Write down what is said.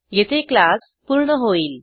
येथे क्लास पूर्ण होईल